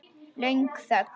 Löng þögn.